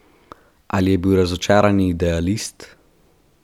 Ali je bil razočarani idealist?